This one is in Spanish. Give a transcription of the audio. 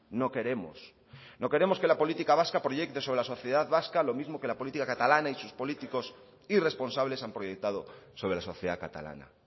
no queremos no queremos que la política vasca proyecte sobre la sociedad vasca lo mismo que la política catalana y sus políticos irresponsables han proyectado sobre la sociedad catalana